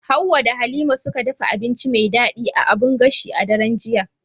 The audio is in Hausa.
Hawwa da Halima suka dafa abinci mai daɗi a abun gashi a daren jiya.